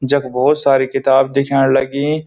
जख बहौत सारी किताब दिख्याण लगीं।